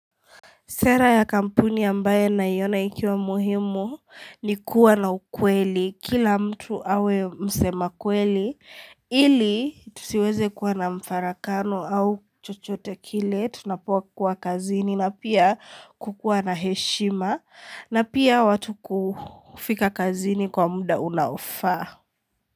Sera ya kampuni ambaye naiona ikiwa muhimu ni kuwa na ukweli, kila mtu awe msema kweli, ili tusiweze kuwa na mfarakano au chochote kile tunapo kuwa kazini na pia kukuwa na heshima na pia watu kufika kazini kwa muda unaofa.